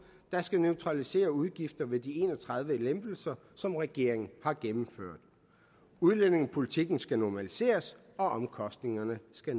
der skal neutralisere udgifter ved de en og tredive lempelser som regeringen har gennemført udlændingepolitikken skal normaliseres og omkostningerne skal